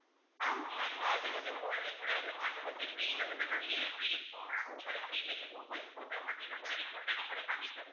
ஆமா ma'am அது வந்து wall ல கூட வந்து மாட்டோம் இப்ப அந்த tree ல வந்து நிறைய tree இருக்கும் அப்போ ஒவ்வொரு frame லயும் ஒவ்வொரு photo மாதிரி நாங்க rea~ ready கூட பண்ணி தரலாம்